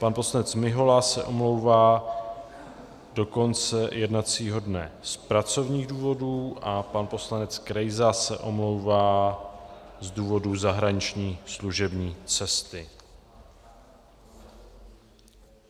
Pan poslanec Mihola se omlouvá do konce jednacího dne z pracovních důvodů a pan poslanec Krejza se omlouvá z důvodu zahraniční služební cesty.